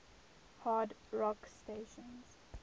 hard rock stations